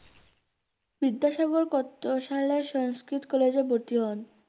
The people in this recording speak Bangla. বিদ্যাসাগর কত সালে সংস্কৃত কলেজে ভর্তি হন?